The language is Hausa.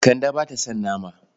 Kande ba ta son nama.